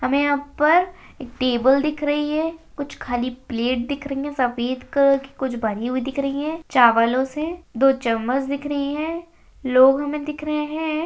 हमें यहां पर एक टेबल दिख रही है कुछ खाली प्लेट दिख रही है सफेद कलर की कुछ भरी हुई दिख रही है चावलों से दो चम्मच दिख रही हैं लोग हमें दिख रहे हैं।